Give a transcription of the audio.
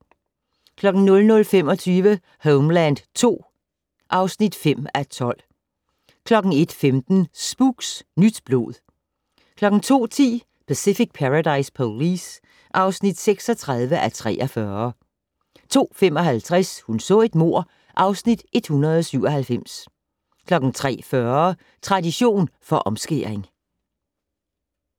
00:25: Homeland II (5:12) 01:15: Spooks: Nyt blod 02:10: Pacific Paradise Police (36:43) 02:55: Hun så et mord (Afs. 197) 03:40: Tradition for omskæring